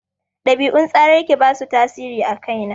Ɗabi'un tsararraki ba su tasiri a kai na.